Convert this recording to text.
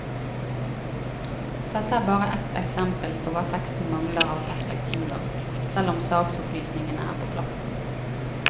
Dette er bare ett eksempel på hva teksten mangler av perspektiver, selv om saksopplysningene er på plass.